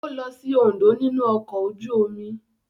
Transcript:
Ó lọ sí Oǹdó nínú ọkọ̀ ojú-omi.